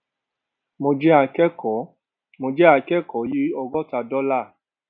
mo jẹ akẹkọọ mo jẹ akẹkọọ yìí ọgóta dollar